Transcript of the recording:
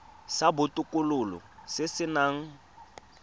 sa botokololo se se nang